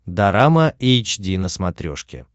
дорама эйч ди на смотрешке